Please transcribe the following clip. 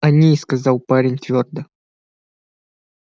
они сказал парень твёрдо